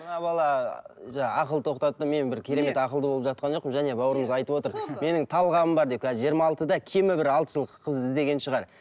мына бала жаңа ақыл тоқтаттым мен бір керемет ақылды болып жатқан жоқпын және баурымыз айтып отыр менің талғамым бар деп қазір жиырма алтыда кемі бір алты жыл қыз іздеген шығар